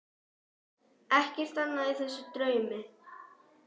Ekkert annað í þessum draumi.